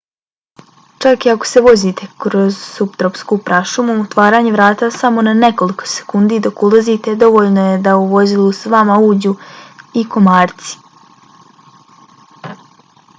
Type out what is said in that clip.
čak i ako se vozite kroz suptropsku prašumu otvaranje vrata samo na nekoliko sekundi dok ulazite dovoljno je da u vozilo s vama uđu i komarci